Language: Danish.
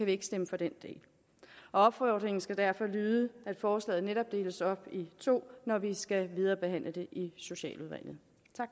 vi ikke stemme for den del opfordringen skal derfor lyde at forslaget netop deles op i to når vi skal viderebehandle det i socialudvalget